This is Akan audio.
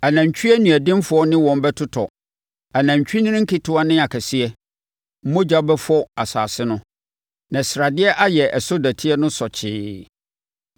Anantwie aniɔdenfoɔ ne wɔn bɛtotɔ, anantwinini nketewa ne akɛseɛ. Mogya bɛfɔ wɔn asase no, na sradeɛ ayɛ ɛso dɔteɛ no sɔkyee.